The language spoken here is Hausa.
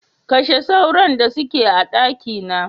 Kashe sauron da suke a dakina.